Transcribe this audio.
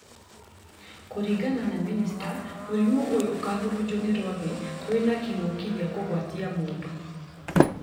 Kũringana na mĩnĩsta, mũrimũ ũyũ ũkahurunjwo nĩ rwagĩ rwĩna kĩng'oki gĩakũgwatia mũndũ